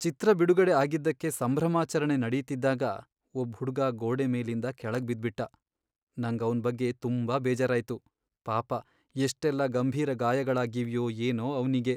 ಚಿತ್ರ ಬಿಡುಗಡೆ ಆಗಿದ್ದಕ್ಕೆ ಸಂಭ್ರಮಾಚರಣೆ ನಡೀತಿದ್ದಾಗ ಒಬ್ಬ್ ಹುಡ್ಗ ಗೋಡೆ ಮೇಲಿಂದ ಕೆಳಗ್ ಬಿದ್ಬಿಟ್ಟ. ನಂಗ್ ಅವ್ನ್ ಬಗ್ಗೆ ತುಂಬಾ ಬೇಜಾರಾಯ್ತು. ಪಾಪ ಎಷ್ಟೆಲ್ಲ ಗಂಭೀರ ಗಾಯಗಳಾಗಿವ್ಯೋ ಏನೋ ಅವ್ನಿಗೆ.